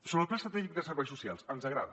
sobre el pla estratègic de serveis socials ens agrada